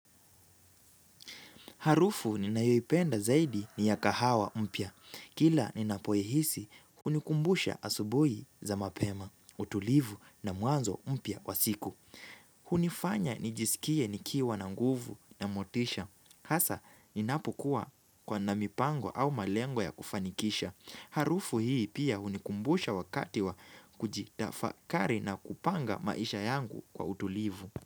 Harufu ninayoipenda zaidi ni ya kahawa mpya. Kila ninapoihisi, hunikumbusha asubuhi za mapema, utulivu na mwanzo mpya wa siku. Hunifanya nijisikie nikiwa na nguvu na motisha. Hasa, ninapokua kwa na mipango au malengo ya kufanikisha. Harufu hii pia hunikumbusha wakati wa kujitafakari na kupanga maisha yangu kwa utulivu.